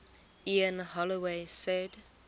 ian holloway said